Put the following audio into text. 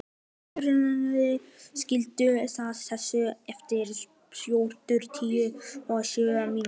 Hrafney, slökktu á þessu eftir fjörutíu og sjö mínútur.